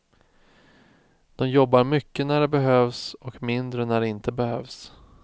De jobbar mycket när det behövs och mindre när det inte behövs.